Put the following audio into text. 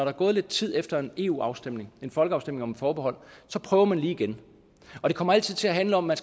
er gået lidt tid efter en eu afstemning en folkeafstemning om et forbehold prøver man lige igen og det kommer altid til at handle om at